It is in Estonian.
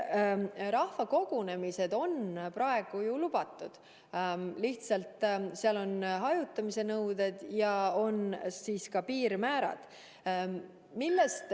Rahvakogunemised on praegu lubatud, seal tuleb järgida lihtsalt hajutamise nõudeid ja on ka piirmäärad.